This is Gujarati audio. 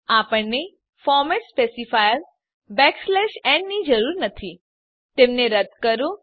આપણને ફોર્મેટ સ્પેસિફાયર ન ની જરૂર નથી તેમને રદ્દ કરો